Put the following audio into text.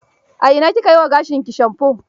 A ina ki ka yi wa gashinki shamfo?